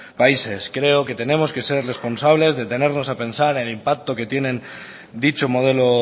países creo que tenemos que ser responsables detenernos a pensar en el impacto que tiene en dicho modelo